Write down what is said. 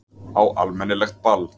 Á almennilegt ball.